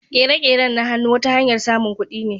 Kere-keren na hannu wata hanyar samun kudi ne.